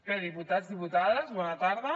bé diputats diputades bona tarda